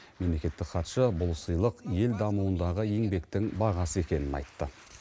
мемлекеттік хатшы бұл сыйлық ел дамуындағы еңбектің бағасы екенін айтты